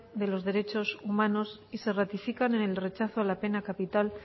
de los derechos humanos y se ratifican en el rechazo a la pena capital